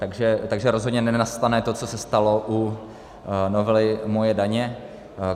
Takže rozhodně nenastane to, co se stalo u novely MOJE daně.